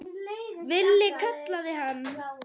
Villi kallaði hann.